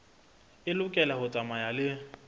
e lokela ho tsamaya le